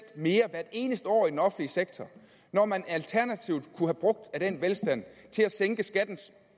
mere hvert eneste år i den offentlige sektor når man alternativt kunne have brugt af den velstand til at sænke skatten